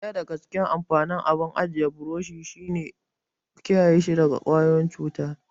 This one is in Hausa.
Daya daga cikin amfanin abun ajiya burushi shi ne kiyaye shi daga ƙwayoyin cuta.